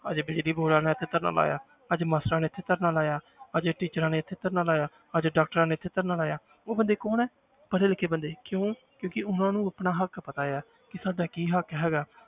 ਅੱਜ ਬਿਜ਼ਲੀ board ਵਾਲਿਆਂ ਨੇ ਇੱਥੇ ਧਰਨਾ ਲਾਇਆ ਅੱਜ masters ਨੇ ਇੱਥੇ ਧਰਨਾ ਲਾਇਆ ਅੱਜ teachers ਨੇ ਇੱਥੇ ਧਰਨਾ ਲਾਇਆ ਅੱਜ doctors ਨੇ ਇੱਥੇ ਧਰਨਾ ਲਾਇਆ ਉਹ ਬੰਦੇ ਕੌਣ ਹੈ, ਪੜ੍ਹੇ ਲਿਖੇ ਬੰਦੇ ਕਿਉਂ ਕਿਉਂਕਿ ਉਹਨਾਂ ਨੂੰ ਆਪਣਾ ਹੱਕ ਪਤਾ ਹੈ ਕਿ ਸਾਡਾ ਕੀ ਹੱਕ ਹੈਗਾ।